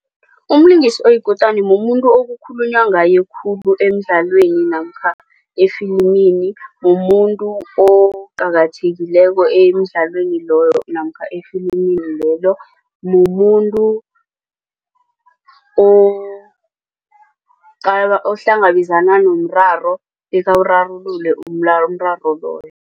Umlingisi oyikutani mumuntu okukhulunywa ngayo khulu emdlalweni namkha efilimini. Mumuntu oqakathekileko emdlalweni loyo namkha efilimini lelo mumuntu ohlangabezana nomraro bekawurarulule umraro loyo.